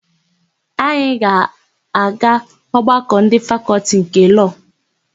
Anyị ga-aga ọgbakọ ndị Fakọltị nke Lọọ echi.